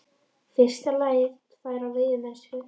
fyrsta lagi byggja þær á veiðimennsku.